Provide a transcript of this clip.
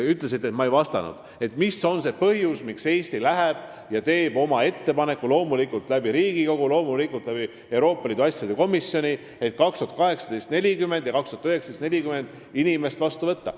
Te ütlesite, et ma ei vastanud sellele, mis on see põhjus, miks Eesti teeb oma ettepaneku, loomulikult Riigikogu ja Euroopa Liidu asjade komisjoni kaudu, et 2018. aastal tuleks meil 40 ja ka 2019. aastal 40 inimest vastu võtta.